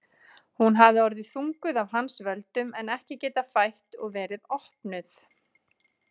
Hún hafði orðið þunguð af hans völdum en ekki getað fætt og verið opnuð.